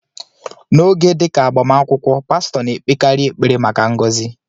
N'oge dị ka agbamakwụkwọ, pastọ na-ekpekarị ekpere maka ngọzị.